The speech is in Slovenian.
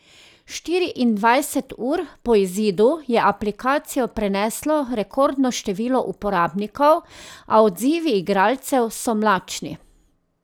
Štiriindvajset ur po izidu je aplikacijo preneslo rekordno število uporabnikov, a odzivi igralcev so mlačni.